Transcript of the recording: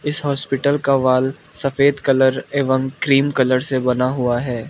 इस हॉस्पिटल का वाल सफेद कलर एवं क्रीम कलर से बना हुआ है।